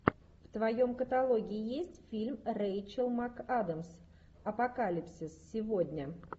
в твоем каталоге есть фильм рейчел макадамс апокалипсис сегодня